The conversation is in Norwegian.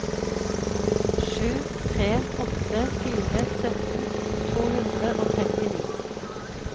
sju tre åtte fire sytten to hundre og trettini